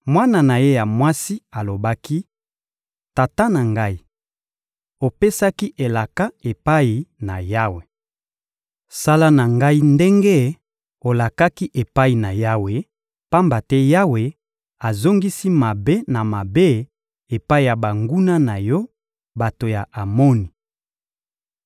Mwana na ye ya mwasi alobaki: — Tata na ngai, opesaki elaka epai na Yawe. Sala na ngai ndenge olakaki epai na Yawe, pamba te Yawe azongisi mabe na mabe epai ya banguna na yo, bato ya Amoni.